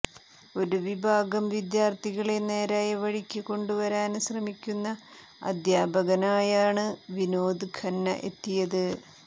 ഒരു വിഭാഗം വിദ്യാര്ത്ഥികളെ നേരായ വഴിക്ക് കൊണ്ടുവരാന് ശ്രമിക്കുന്ന അദ്ധ്യാപകനായാണ് വിനോദ് ഖന്ന എത്തിയത്